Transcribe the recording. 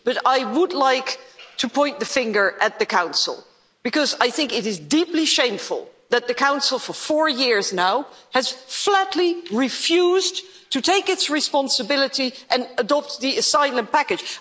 But I would like to point the finger at the Council, because I think it is deeply shameful that the Council for four years now has flatly refused to take its responsibility and adopt the Asylum Package.